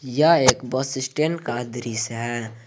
यह एक bus stand का दृश्य है।